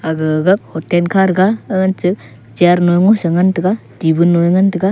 aga gag hotel kha to ga agan che chair mosI ngan tega tibon nu a nga tega.